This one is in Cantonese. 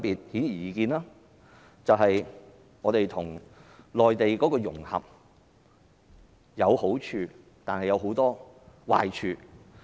顯而易見，本港與內地的融合，有好處亦有很多壞處。